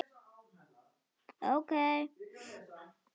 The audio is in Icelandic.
Það voru aðfarir í lagi!